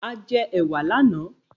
A jẹ ẹ̀wà lánàá.